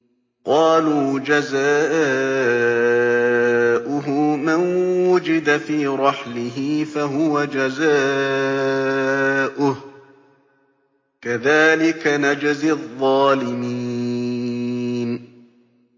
قَالُوا جَزَاؤُهُ مَن وُجِدَ فِي رَحْلِهِ فَهُوَ جَزَاؤُهُ ۚ كَذَٰلِكَ نَجْزِي الظَّالِمِينَ